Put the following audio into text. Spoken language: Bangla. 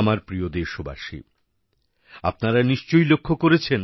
আমার প্রিয় দেশবাসী আপনারা নিশ্চয়ই লক্ষ্য করেছেন